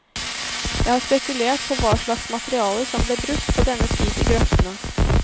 Jeg har spekulert på hva slags materiale som ble brukt på denne tid i grøftene.